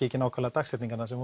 ekki nákvæmlega dagsetningarnar sem